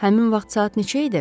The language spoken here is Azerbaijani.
Həmin vaxt saat neçə idi?